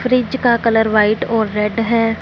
Fridge का colour white और red है।